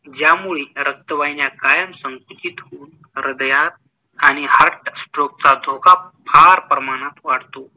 ज्‍यामुळे रक्‍तवाहिन्‍या कायमच्‍या संकुचित होऊन ह्रदयात आणि heart stroke चा धोका फार प्रमाणात वाढतो.